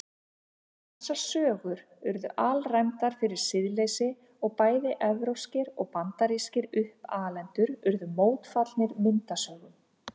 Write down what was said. Þessar sögur urðu alræmdar fyrir siðleysi og bæði evrópskir og bandarískir uppalendur urðu mótfallnir myndasögum.